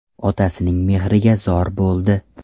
Otasining mehriga zor bo‘ldi.